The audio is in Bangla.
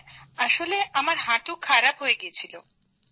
হ্যাঁ আমার হাঁটু খারাপ হয়ে গেছিল